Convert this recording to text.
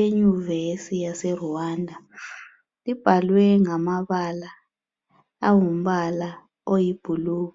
eyunivese yaseRwanda. Libhalwe ngamabala angumpala oyiblue.